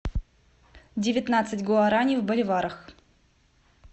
девятнадцать гуарани в боливарах